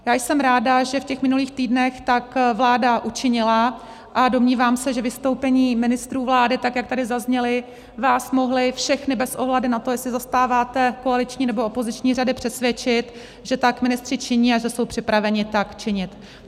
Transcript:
Já jsem ráda, že v těch minulých týdnech tak vláda učinila, a domnívám se, že vystoupení ministrů vlády, tak jak tady zazněla, vás mohla všechny bez ohledu na to, jestli zastáváte koaliční, nebo opoziční řady, přesvědčit, že tak ministři činí a že jsou připraveni tak činit.